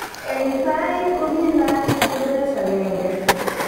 Eng tai kokinaat ko Grace 1